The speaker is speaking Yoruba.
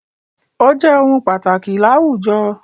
Ó jẹ́ ohun pàtàkì láwùjọ.